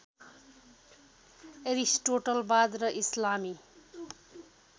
एरिस्टोटलवाद र इस्लामी